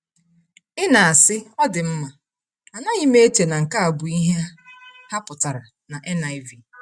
Ị na-asị, “Ọ dị mma, anaghị m eche na nke a bụ ihe ha pụtara na NIV.”